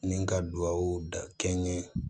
Ni ka duwawu da kɛ n ye